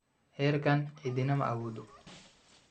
heerkan cidina ma awoodo.